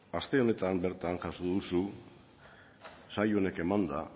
aste honetan bertan jaso duzu sail honek emanda